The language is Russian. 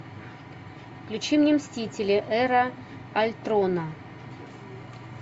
включи мне мстители эра альтрона